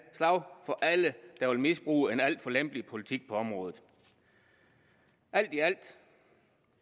slag for alle der vil misbruge en alt for lempelig politik på området alt i alt